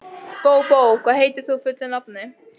Bóbó, hvað heitir þú fullu nafni?